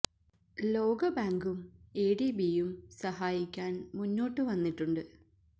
ലോക ബാങ്കും A D B യും സഹായിക്കാന് മുന്നോട്ട് വന്നിട്ടുണ്ട്